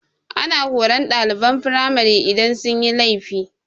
Ana horan ɗaliban firamari idan sun yi laifi.